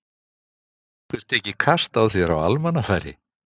Hefur einhver tekið kast á þér á almannafæri?